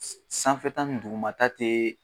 Sanfɛta ni dugumata te